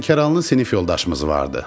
Lənkəranlı sinif yoldaşımız vardı.